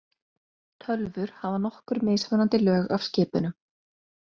Tölvur hafa nokkur mismunandi lög af skipunum.